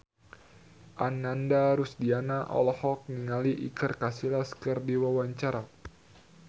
Ananda Rusdiana olohok ningali Iker Casillas keur diwawancara